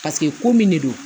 Paseke ko min de don